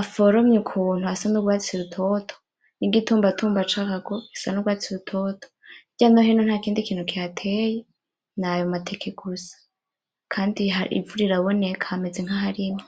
aforomye ukuntu asa n'urwatsi rutoto n'igitumbatumba carwo gisa n'urwatsi rutoto, hirya no hino ntakindi kintu kihateye nayo mateke gusa, kandi ivu riraboneka hameze nk'aharimye.